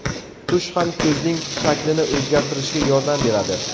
Tush ham ko‘zning shaklini o‘zgartirishga yordam beradi.